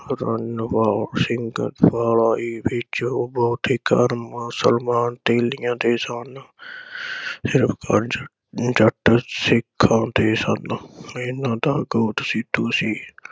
ਰਨਵੋਰ ਸਿੰਘ ਵਿਚ ਉਹ ਬਹੁਤ ਹੀ ਕਰਮ ਸਨਮਾਨ ਹਥੇਲੀਆਂ ਤੇ ਸਨ। ਸਿਰਫ ਪੰਜ ਜੱਟ ਸਿੱਖਾਂ ਦੇ ਸਨ। ਇਨ੍ਹਾਂ ਦਾ ਗੋਤ ਸੀਤੂ ਸੀ।